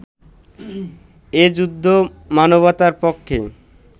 এ যুদ্ধ মানবতার পক্ষে